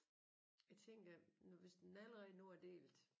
Jeg tænker nu hvis den allerede nu er delt